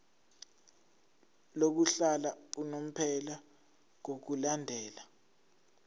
lokuhlala unomphela ngokulandela